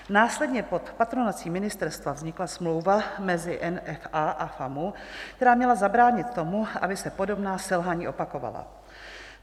Následně pod patronací ministerstva vznikla smlouva mezi NFA a FAMU, která měla zabránit tomu, aby se podobná selhání opakovala.